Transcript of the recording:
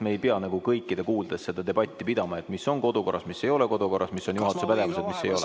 Me ei pea nagu kõikide kuuldes seda debatti pidama, et mis on kodukorras, mis ei ole kodukorras, mis on juhatuse pädevuses ja mis ei ole.